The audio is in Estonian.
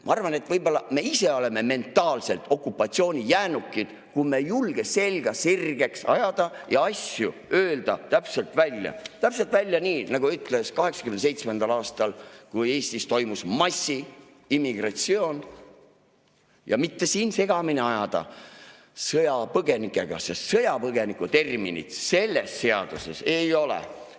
Ma arvan, et võib-olla me ise oleme mentaalselt okupatsioonijäänukid, kui me ei julge selga sirgeks ajada ja öelda asju täpselt välja – täpselt välja nii, nagu ütles 1987. aastal, kui Eestis toimus massiimmigratsioon, ja mitte siin segamini ajada sõjapõgenikega, sest sõjapõgeniku terminit selles seaduses ei ole.